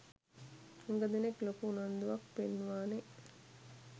හුග දෙනෙක් ලොකු උනන්දුවක් පෙන්නුවනේ.